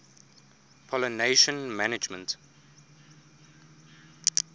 pollination management